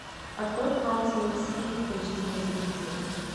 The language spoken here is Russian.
открой канал ти эл си эйч ди на телевизоре